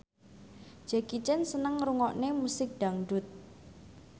Jackie Chan seneng ngrungokne musik dangdut